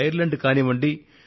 Ireland కానివ్వండి